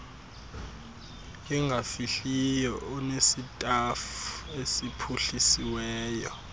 engafihliyo onesitafu esiphuhlisiweyo